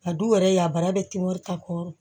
A du yɛrɛ ya bara be kibaru ta kɔrɔ